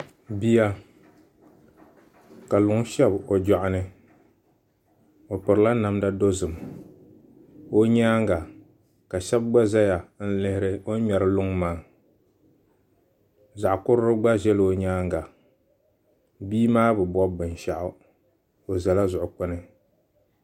Bia ka luŋ shɛbi o joɣani o pirila namda dozim o nyaanga ka shab gba ƶɛya n lihiri o ni ŋmɛri luŋ maa zaɣ kurili gba ʒɛla o nyaanga bia maa bi bob binshaɣu o ʒɛla zuɣu kpuni